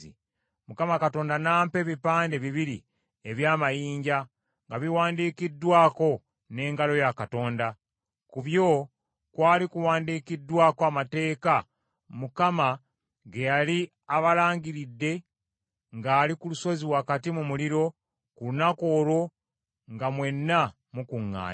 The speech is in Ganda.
Mukama Katonda n’ampa ebipande bibiri eby’amayinja nga biwandiikiddwako n’engalo ya Katonda. Ku byo kwali kuwandiikiddwako amateeka Mukama ge yali abalangiridde ng’ali ku lusozi wakati mu muliro ku lunaku olwo nga mwenna mukuŋŋaanye.